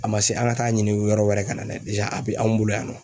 A man se an ka taa ɲini yɔrɔ wɛrɛ kana n'a ye a bɛ anw bolo yan